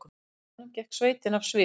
Á endanum gekk sveitin af sviði